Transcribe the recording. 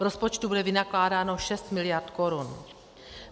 V rozpočtu bude vynakládáno 6 miliard korun.